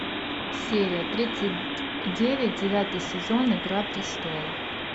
серия тридцать девять девятый сезон игра престолов